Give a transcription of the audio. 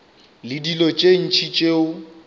le dilo tše ntši tšeo